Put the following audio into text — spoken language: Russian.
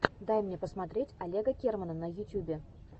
дай мне посмотреть олега кермана на ютюбе